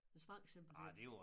Den sprang simpelthen